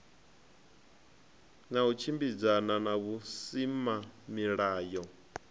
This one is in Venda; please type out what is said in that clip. na u tshimbidzana na vhusimamilayo